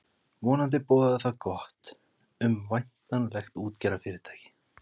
Vonandi boðaði það gott um væntanlegt útgerðarfyrirtæki.